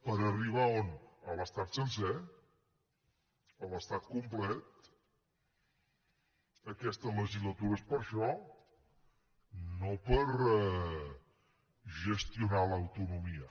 per arribar on a l’estat sencer a l’estat complet aquesta legislatura és per a això no per gestionar l’autonomia